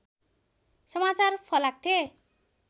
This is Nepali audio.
समाचार फलाक्थे